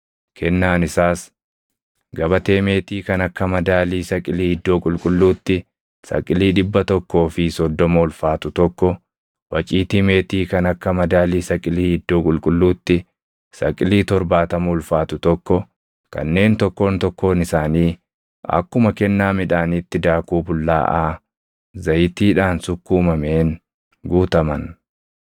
Kennaan isaas gabatee meetii kan akka madaalii saqilii iddoo qulqulluutti saqilii dhibba tokkoo fi soddoma ulfaatu tokko, waciitii meetii kan akka madaalii saqilii iddoo qulqulluutti saqilii torbaatama ulfaatu tokko, kanneen tokkoon tokkoon isaanii akkuma kennaa midhaaniitti daakuu bullaaʼaa zayitiidhaan sukkuumameen guutaman,